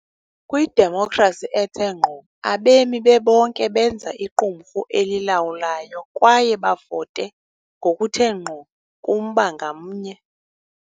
Kwidemokhrasi ethe ngqo, abemi bebonke benza iqumrhu elilawulayo kwaye bavote ngokuthe ngqo kumba ngamnye.